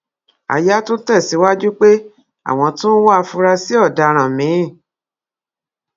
aya tún tẹsíwájú pé àwọn tún ń wá àfurasí ọdaràn míín